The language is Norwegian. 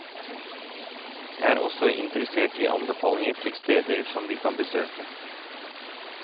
Jeg er også interessert i anbefalinger til steder som vi kan besøke.